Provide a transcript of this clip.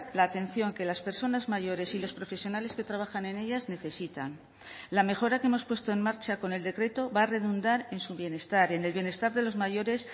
la atención que las personas mayores y los profesionales que trabajan en ellas necesitan la mejora que hemos puesto en marcha con el decreto va a redundar en su bienestar en el bienestar de los mayores